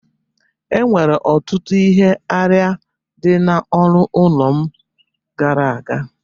Enwere ọtụtụ ihe arịa dị n'ọnụ ụlọ m gara aga